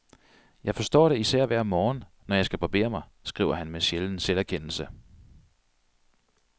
Jeg forstår det især hver morgen, når jeg skal barbere mig, skriver han med sjælden selverkendelse.